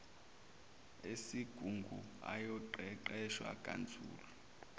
esigungu ayoqeqeshwa kanzulu